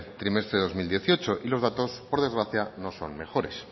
trimestre del dos mil dieciocho y los datos por desgracia no son mejores